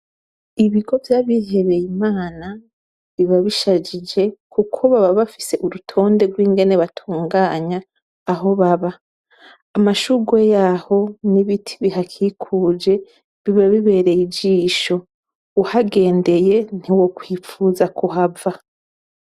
Ibigo vyabihebeye Imana, biba bisajije kuko baba bafise urutonde rw'infene batunganya aho baba. Amashurwe yaho n'ibiti bihakikuje, biba bibereye ijisho. Ugahendeye ntiwokwifuza kuhava.